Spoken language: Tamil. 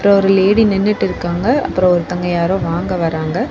அங்க ஒரு லேடி நின்னுட்டிருக்காங்க அப்றொ ஒருத்தங்க யாரோ வாங்க வராங்க.